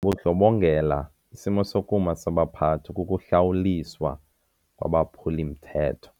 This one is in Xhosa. bundlobongela isimo sokuma sabaphathi kukuhlawuliswa kwabaphuli-mthetho.